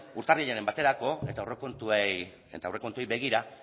urtarrilaren baterako eta aurrekontuei begira